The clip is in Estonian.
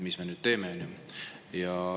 Mis me nüüd teeme?